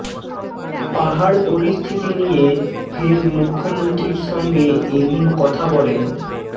পাহাড় পরিস্থিতি নিয়ে ফের মুখ্যমন্ত্রীর সঙ্গে এদিন কথা বলেন